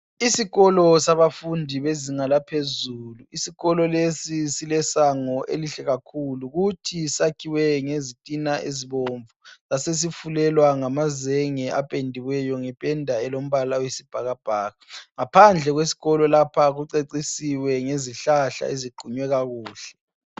Isikolo sabafundi bezinga laphezulu, isokolo lesi silesango elihle kakhulu, futhi sakhiwe ngezitina ezibomvu, sasesifulelwa ngamazenge apendiweyo ngependa elombala wesibhakabhaka. Ngaphandle kwesikolo lapha kucecisiwe ngezihlahla eziqunywe kakuhle.